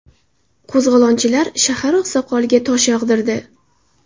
Qo‘zg‘olonchilar shahar oqsoqoliga tosh yog‘dirdi.